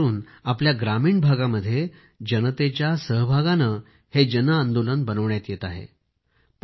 विशेष करून आपल्या ग्रामीण भागामध्ये जनतेच्या सहभागाने हे जन आंदोलन बनविण्यात येत आहे